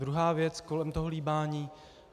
Druhá věc - kolem toho líbání.